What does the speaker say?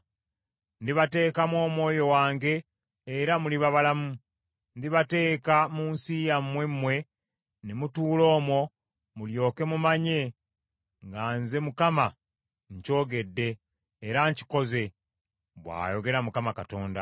Ndibateekamu Omwoyo wange era muliba balamu; ndibateeka mu nsi yammwe mmwe ne mutuula omwo, mulyoke mumanye nga nze Mukama nkyogedde, era nkikoze, bw’ayogera Mukama Katonda.’ ”